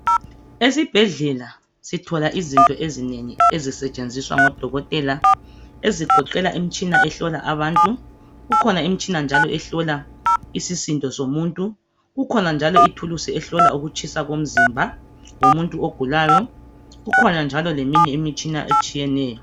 Esibhedlela sithola izinto ezinengi ezisetshenziswa ngodokotela ezigoqela imitshina ehlola abantu kukhona imitshina njalo ehlola isisindo somuntu kukhona njalo ithuluzi ehlola ukutshisa komzimba womuntu ogulayo kukhona njalo leminye imitshina etshiyeneyo.